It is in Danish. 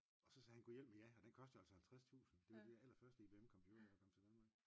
Også sagde han gudhjælpemig ja og den koster altså 50 tusind det var de aller første I B M computere der kom til Danmark